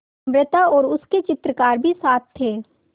अमृता और उसके चित्रकार भी साथ थे